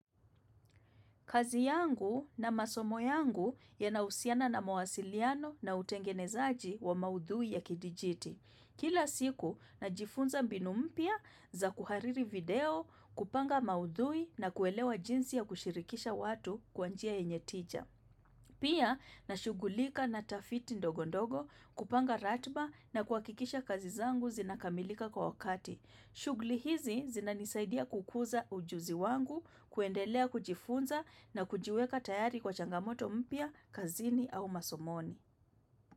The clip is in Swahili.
Kazi yangu na masomo yangu yanahusiana na mawasiliano na utengenezaji wa maudhui ya kidijiti. Kila siku najifunza mbinu mpya za kuhariri video kupanga maudhui na kuelewa jinsi ya kushirikisha watu kwa njia yenye tija. Pia nashugulika na tafiti ndogo ndogo kupanga ratiba na kuhakikisha kazi zangu zinakamilika kwa wakati. Shughuli hizi zinanisaidia kukuza ujuzi wangu, kuendelea kujifunza na kujiweka tayari kwa changamoto mpya, kazini au masomoni.